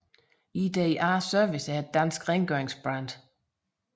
IDA Service er et dansk rengøringsbrand